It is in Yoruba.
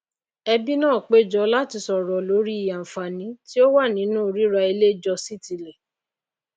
ẹbí náà péjọ láti sòrò lórí àànfàní tí ó wà nínu ríra ilé jọ sí ti ilè